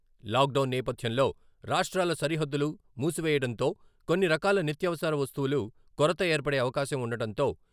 Lockdown నేపథ్యంలో రాష్ట్రాల సరిహద్దులు మూసివేయడంతో కొన్ని రకాల నిత్యావసర వస్తువులు కొరత ఏర్పడే అవకాశం ఉండటంతో.